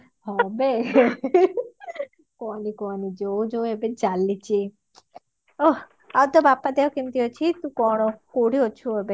କାହନି କାହନି ଯୋଉ ଯୋଉ ଏବେ ଚାଲିଛି ଓଃ ଆଊ ତୋ ବାପା ଦେହ କେମିତି ଅଛି କଣ ତୁ କଣ କୋଉଠି ଅଛୁ ଏବେ